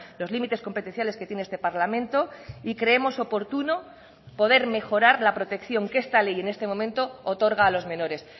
los límites competenciales que tiene este parlamento y creemos oportuno poder mejorar la protección que esta ley en este momento otorga a los menores